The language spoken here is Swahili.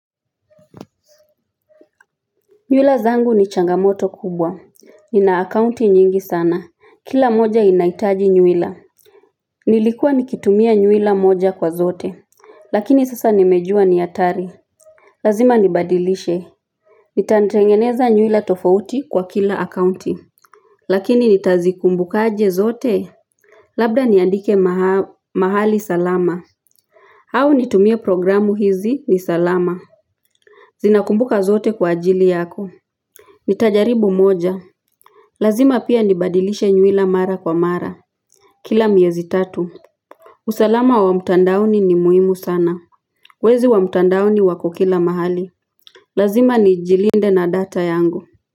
Nywila zangu ni changamoto kubwa. Nina akaunti nyingi sana. Kila moja inaitaji nywila. Nilikuwa nikitumia nywila moja kwa zote. Lakini sasa nimejua ni atari. Lazima nibadilishe. Nitanitengeneza nywila tofauti kwa kila akaunti. Lakini nitazikumbuka je zote. Labda niandike mahali salama. Au nitumie programu hizi ni salama. Zinakumbuka zote kwa ajili yako. Nitajaribu moja. Lazima pia nibadilishe nywila mara kwa mara Kila miezi tatu usalama wa utandaoni ni muhimu sana Wezi wa mtandaoni wako kila mahali Lazima ni jilinde na data yangu.